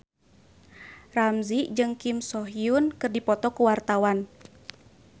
Ramzy jeung Kim So Hyun keur dipoto ku wartawan